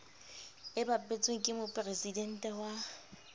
e bapetsweng ke mopresidente wa